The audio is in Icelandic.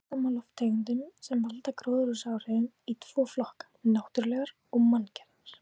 Skipta má lofttegundum sem valda gróðurhúsaáhrifum í tvo flokka: náttúrulegar og manngerðar.